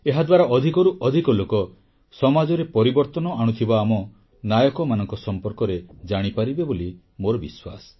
ଏହାଦ୍ୱାରା ଅଧିକରୁ ଅଧିକ ଲୋକ ସମାଜରେ ପରିବର୍ତ୍ତନ ଆଣୁଥିବା ଆମ ନାୟକମାନଙ୍କ ସମ୍ପର୍କରେ ଜାଣିପାରିବେ ବୋଲି ମୋର ବିଶ୍ୱାସ